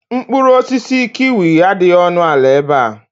Mkpụrụ osisi kiwi adịghị ọnụ ala ebe a.